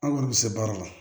An kɔni bɛ se baara la